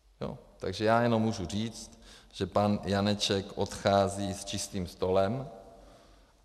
Takže já jenom můžu říct, že pan Janeček odchází s čistým stolem.